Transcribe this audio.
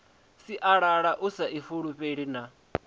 sialala u sa ifulufhela na